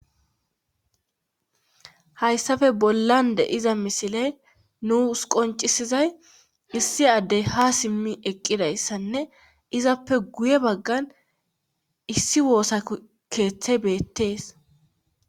hayssafe bollan de iza misiley nuus qoncisizay issi addey ha simmi eqqidayssanne izappe guye baggan issi woosa keeththe beettees